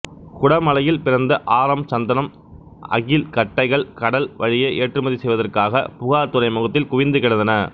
குடமலையில் பிறந்த ஆரம் சந்தனம் அகில் கட்டைகள் கடல் வழியே ஏற்றுமதி செய்வதற்காகப் புகார்த் துறைமுகத்தில் குவிந்துகிடந்தன